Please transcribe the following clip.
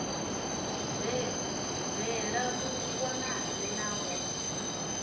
bve a vhonane navho a